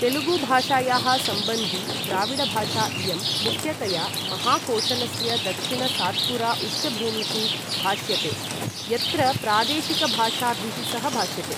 तेलुगु भाषायाः सम्बन्धी द्राविडभाषा इयं, मुख्यतया महाकोशलस्य दक्षिण सात्पुरा उच्चभूमिषु भाष्यते, यत्र प्रादेशिकभाषाभिः सह भाष्यते।